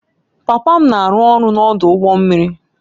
Papa m na-arụ ọrụ n'ọdụ ụgbọ mmiri